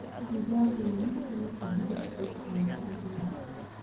Digaaggu waa mid ka mid ah hilibka ugu caansan adduunka.